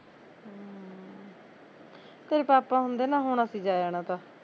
ਘਰੇ ਪਾਪਾ ਹੁੰਦੇ ਨਾ ਹੁਣ ਅਸੀਂ ਜਾਇਆ ਨਾ ਤਾਂ